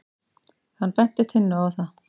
Hann benti Tinnu á það.